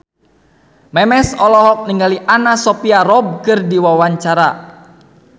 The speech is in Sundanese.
Memes olohok ningali Anna Sophia Robb keur diwawancara